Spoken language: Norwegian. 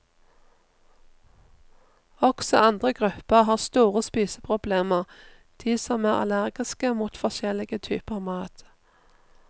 Også andre grupper har store spiseproblemer, de som er allergiske mot forskjellige typer mat.